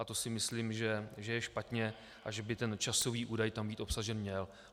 A to si myslím, že je špatně a že by ten časový údaj tam být obsažen měl.